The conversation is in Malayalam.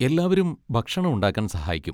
എല്ലാവരും ഭക്ഷണം ഉണ്ടാക്കാൻ സഹായിക്കും.